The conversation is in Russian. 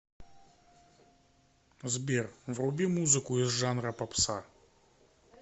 сбер вруби музыку из жанра попса